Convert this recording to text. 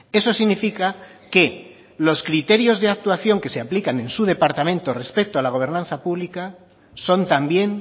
eso significa que los criterios de actuación que se aplican en su departamento respecto a la gobernanza pública son también